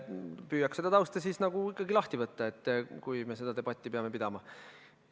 Püüan seda tausta ikkagi lahti võtta, kui me seda debatti peame pidama.